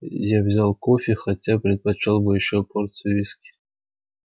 я взял кофе хотя предпочёл бы ещё порцию виски